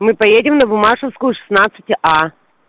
мы поедем на буммашевскую шестнадцать а